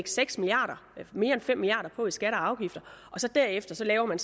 mere end fem milliard kroner på i skatter og afgifter og så derefter laver man